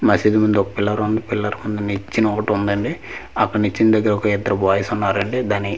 మసీదు ముందు ఒక పిల్లర్ ఉంది పిల్లర్ ముందు నిచ్చెన ఒకటి ఉందండి అక్కడ నిచ్చిన దగ్గర ఒక ఇద్దరు బాయ్స్ ఉన్నారండీ దాని --